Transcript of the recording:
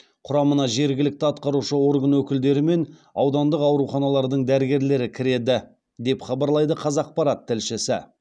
құрамына жергілікті атқарушы орган өкілдері мен аудандық ауруханалардың дәрігерлері кіреді деп хабарлайды қазақпарат тілшісі